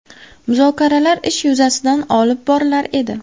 Muzokaralar ish yuzasidan olib borilar edi.